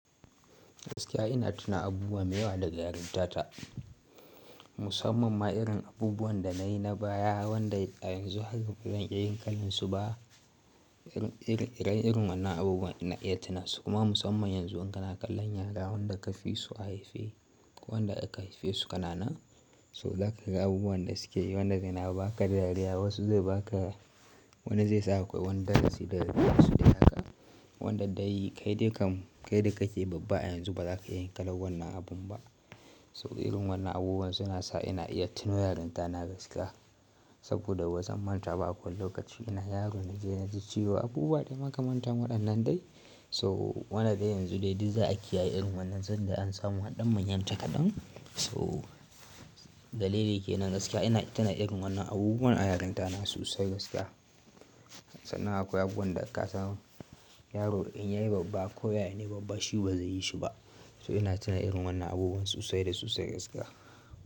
Gaskiya ina tuna abubuwa mai yawa da yarinta ta. Musamman ma irin abubuwan da nayi na baya wanda i a yanzu haka bazan iya yin kalansu ba. Irin wannan abubuwan ina iya tunasu kuma musamman yanzu in kana kallon yara wanda ka fi su a haife ko wanda aka haife su kanana. So zaka ga abubuwan da suke yi wanda zai na baka dariya wasu zai baka wanda zai saka wani darasi da zaki iya suɗe haka. Wanda dai kai da kake babba a yanzu baza ka iya yin kalan wannan abun ba. So irin wannan abubuwan suna sa ina iya tuno yarinta na gaskiya. Saboda bazan manta ba a kowane lokaci ina yaro na je na ji ciwo abubuwa dai makamanta waɗannan dai. So wannan dai yanzu dai duk za a kiyaye irin wannan zan dai an samu an dan manyanta kadan So dalili kenan gaskiya ina tuna irin wannan abubuwan a yarinta na sosai gaskiya. Sannan akwai abubuwan da ka san yaro in yayi babba ko yaya ne babba shi bazai yi shi ba. So ina tuna irin wannan abubuwan sosai da sosai gaskiya.